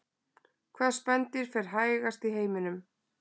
hvaða spendýr fer hægast í heiminum